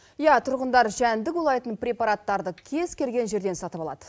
иә тұрғындар жәндік улайтын препараттарды кез келген жерден сатып алады